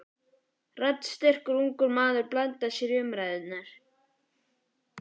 Raddsterkur, ungur maður blandaði sér í umræðuna.